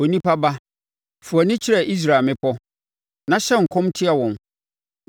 “Onipa ba, fa wʼani kyerɛ Israel mmepɔ, na hyɛ nkɔm tia wɔn,